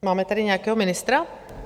Máme tady nějakého ministra?